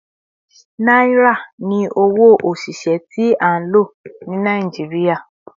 Naira ni owo osise ti a lo ni Naijiria